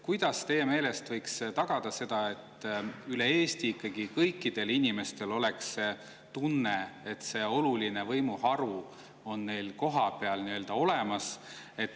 Kuidas teie meelest võiks tagada seda, et üle Eesti oleks ikkagi kõikidel inimestel tunne, et see oluline võimuharu on neil kohapeal olemas?